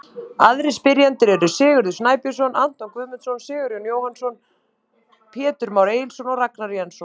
Aðrir spyrjendur eru: Sigurður Snæbjörnsson, Anton Guðmundsson, Sigurjón Jóhannsson, Pétur Már Egilsson og Ragnar Jensson.